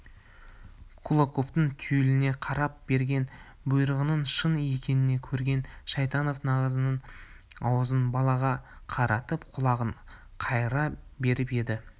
кулаковтың түйіле қарап берген бұйрығының шын екенін көрген шайтанов наганының аузын балаға қаратып құлағын қайыра беріп еді